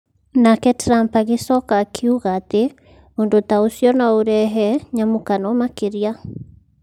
Nake Trump agĩcoka akiuga atĩ, Ũndũ ta ũcio no ũrehe nyamũkano makĩria.